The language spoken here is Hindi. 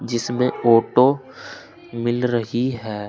जिसमें ऑटो मिल रही है।